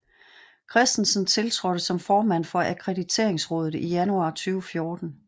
Christensen tiltrådte som formand for Akkrediteringsrådet i januar 2014